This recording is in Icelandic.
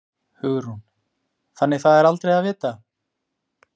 Hugrún: Þannig það er aldrei að vita?